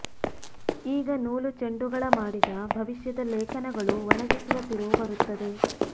ಈಗ ನೂಲು ಚೆಂಡುಗಳ ಮಾಡಿದ ಭವಿಷ್ಯದ ಲೇಖನಗಳು ಒಣಗಿಸುವ ತಿರುವು ಬರುತ್ತದೆ